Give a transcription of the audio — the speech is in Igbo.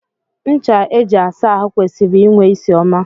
Ncha eji asa ahụ kwesịrị inwe ịsị ọma.